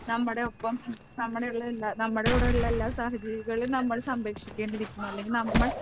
നമ്മുടെ ഒപ്പം നമ്മുടെയുള്ള എല്ലാ നമ്മുടെ കൂടെയുള്ള എല്ലാ സഹജീവികളെയും നമ്മൾ സംരക്ഷിക്കേണ്ടി ഇരിക്കുന്നു അല്ലെങ്കിൽ നമ്മൾ